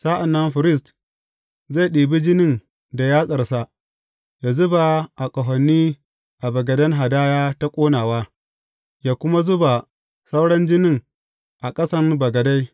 Sa’an nan firist zai ɗibi jinin da yatsarsa yă zuba a ƙahoni a bagaden hadaya ta ƙonawa, yă kuma zuba sauran jinin a ƙasan bagade.